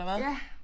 Ja